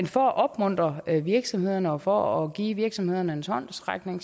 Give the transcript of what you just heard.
for at opmuntre virksomhederne og for at give virksomhederne en håndsrækning